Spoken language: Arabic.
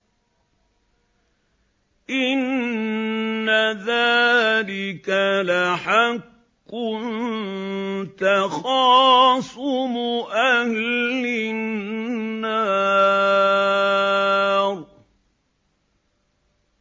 إِنَّ ذَٰلِكَ لَحَقٌّ تَخَاصُمُ أَهْلِ النَّارِ